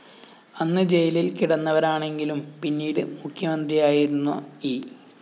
അന്ന് ജയിലില്‍ കിടന്നവരാണെങ്കിലും പിന്നീട് മുഖ്യമന്ത്രിയായിരുന്ന ഇ